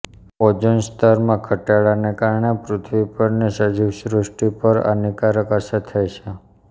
ઓઝોનસ્તરમાં ઘટાડાને કારણે પૃથ્વી પરની સજીવસૃષ્ટિ પર હાનિકારક અસરો થાય છે